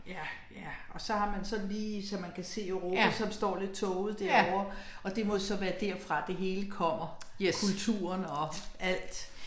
Ja, ja og så har man sådan lige så man kan se Europa som står lidt tåget derovre, og det må så være derfra, det hele kommer kulturen og alt